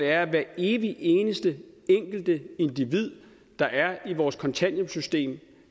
at hver evig eneste enkeltindivid der er i vores kontanthjælpssystem